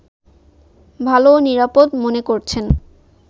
ভালো ও নিরাপদ মনে করছেন